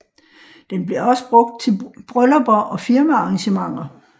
Det bliver også brugt til bryllupper og firmaarrangementer